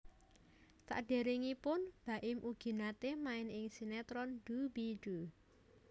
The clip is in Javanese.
Saderengipun Baim ugi nate main ing sinetron Doo Bee Doo